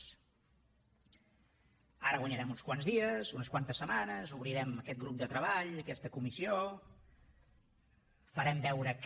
ara guanyarem uns quants dies unes quantes setmanes obrirem aquest grup de treball aquesta comissió farem veure que